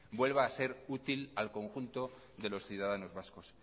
vuelva a ser útil al conjunto de los ciudadanos vascos